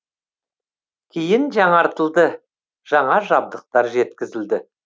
кейін жаңартылды жаңа жабдықтар жеткізілді